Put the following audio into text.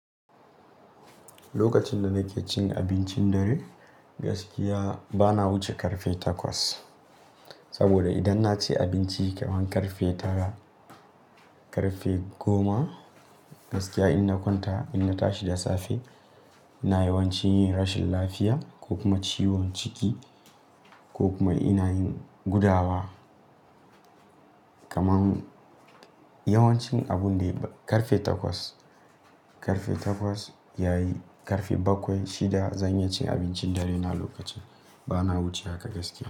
Lokacin da nake cin abincin dare gaskiya bana wuce ƙarfe takwas. Saboda idan na ci abinci ƙarfe tara, ƙarfe goma gaskiya in na kwanta, in na tashi da safe ina yawancin yin rashin lafiya ko kuma ciwon ciki ko kuma ina yin gudawa. Kaman yawancin abun dai ƙarfe takwas, ƙarfe takwas yayi ƙarfe bakwai shida zan iya cin abincin dare na lokacin bana wuce haka gaskiya.